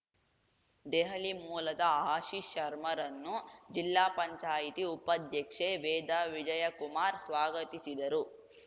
ದೆಹಲಿ ಮೂಲದ ಆಶೀಶ್‌ ಶರ್ಮರನ್ನು ಜಿಲ್ಲಾ ಪಂಚಾಯತಿ ಉಪಾಧ್ಯಕ್ಷೆ ವೇದಾ ವಿಜಯಕುಮಾರ್‌ ಸ್ವಾಗತಿಸಿದರು